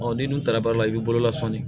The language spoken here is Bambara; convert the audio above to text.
ni nun ta la baara la i bi bolola sɔnni